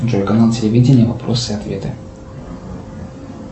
джой канал телевидения вопросы и ответы